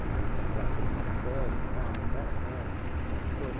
porque ele está fraco nessa matéria e tal, a história toda.